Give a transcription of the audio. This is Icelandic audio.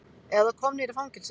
Eða komnir í fangelsi.